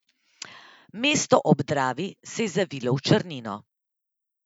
Mesto ob Dravi se je zavilo v črnino.